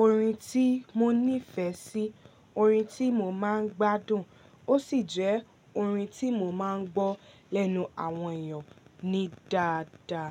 orin tí mo nífẹ̀ẹ́ sí, orin tí mo máa ń gbádùn ó sì jẹ́ orin tí mo máa ń gbọ́ lẹ́nu àwọn èèyàn ní dáadáa.